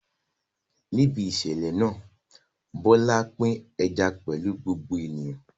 Níbi ìṣẹ̀lẹ̀ náà, Bola pín ẹja pẹ̀lú gbogbo ènìyàn.